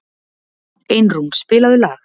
Einrún, spilaðu lag.